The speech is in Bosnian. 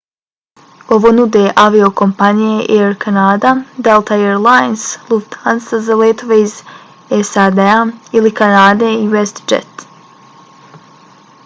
ovo nude aviokompanije air canada delta air lines lufthansa za letove iz sad-a ili kanade i westjet